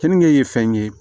Kenige ye fɛn ye